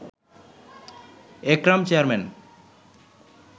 Ekram chairman